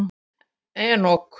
Enok